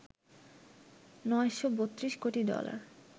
৯৩২ কোটি ডলার